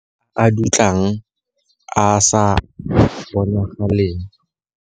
A a dutlang a a sa bonagaleng.